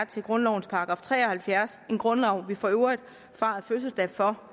til grundlovens § tre og halvfjerds en grundlov vi for øvrigt fejrede fødselsdag for